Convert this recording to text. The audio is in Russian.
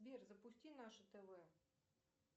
сбер запусти наше тв